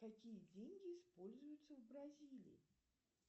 какие деньги используются в бразилии